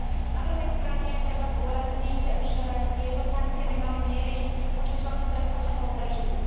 Na druhej strane treba zdôrazniť, že tieto sankcie by mali mieriť voči čelným predstaviteľom režimu.